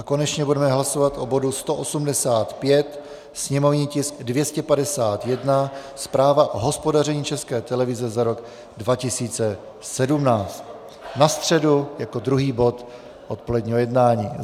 A konečně budeme hlasovat o bodu 185, sněmovní tisk 251, Zpráva o hospodaření České televize v roce 2017, na středu jako druhý bod odpoledního jednání.